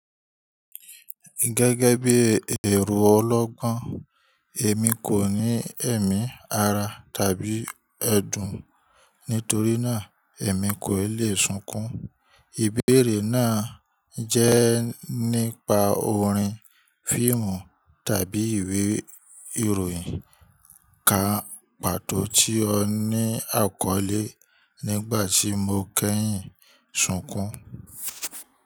Gẹ́gẹ́ bí ẹro ọlọ́gbọ́n, èmi kò ní ẹ̀mí ara tàbí ẹ̀dùn, nítorí náà èmi koò lè sunkún. Ìbéèrè náà jẹ́ nípa orin, fiimù tàbí ìwé ìròyìn ká pàtó tí ó ní àkọlé "Nígbà tí mo kẹ́yìn, sunkún".